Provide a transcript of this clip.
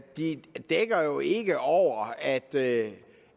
de dækker jo ikke over at